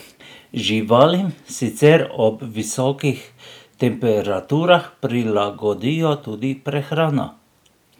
Živalim sicer ob visokih temperaturah prilagodijo tudi prehrano.